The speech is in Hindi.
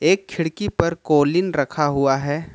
एक खिड़की पर कॉलिंन रखा हुआ है।